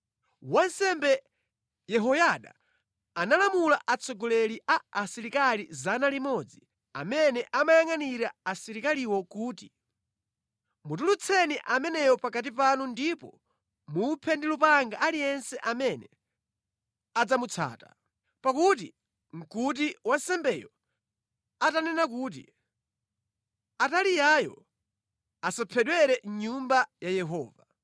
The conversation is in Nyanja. Wansembe Yehoyada analamula atsogoleri a asilikali 100 amene amayangʼanira asilikaliwo kuti, “Mutulutseni ameneyo pakati panu ndipo muphe ndi lupanga aliyense amene adzamutsata.” Pakuti nʼkuti wansembeyo atanena kuti, “Ataliyayo asaphedwere mʼNyumba ya Yehova.”